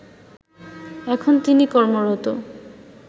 এখন তিনি কর্মরত